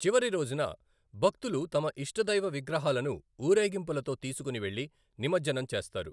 చివరి రోజున భక్తులు తమ ఇష్టదైవ విగ్రహాలను ఊరేగింపులతో తీసుకుని వెళ్లి నిమజ్జనం చేస్తారు.